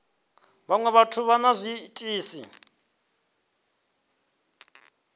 vhaṅwe vhathu vha na zwiitisi